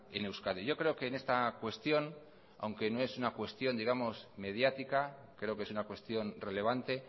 en euskadi yo creo que en esta cuestión aunque no es una cuestión digamos mediática creo que es una cuestión relevante